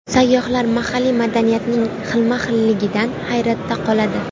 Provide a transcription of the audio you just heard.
Sayyohlar mahalliy madaniyatning xilma-xilligidan hayratda qoladi.